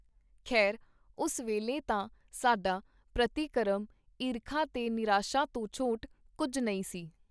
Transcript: ਖੇਰ, ਉਸ ਵੇਲੇ ਤਾਂ ਸਾਡਾ ਪ੍ਰਤੀਕਰਮ ਈਰਖਾ ਤੇ ਨਿਰਾਸ਼ਾ ਤੋਂ ਛੋਟ ਕੁੱਝ ਨਹੀਂ ਸੀ.